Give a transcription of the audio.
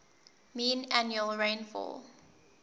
mean annual rainfall